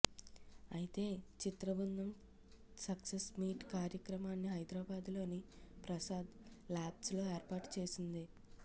అయితే చిత్రబృందం success meet కార్యక్రమాన్ని హైదరాబద్లోని ప్రసాద్ ల్యాబ్స్లో ఏర్పాటు చేసింది